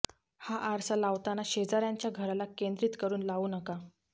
हा आरसा लावताना शेजाऱयांच्या घराला केंद्रित करून लावू नका